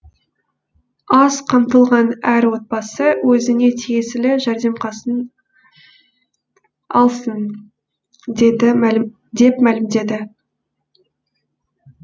аз қамтылған әр отбасы өзіне тиесілі жәрдем алсын деп мәлімдеді